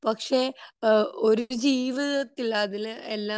പക്ഷെ ഒരു ജീവിതത്തിൽ അതില് എല്ലാം